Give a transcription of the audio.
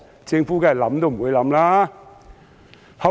政府當然不會考慮。